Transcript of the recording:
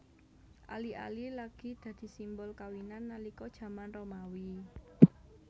Ali ali lagi dadi simbol kawinan nalika jaman Romawi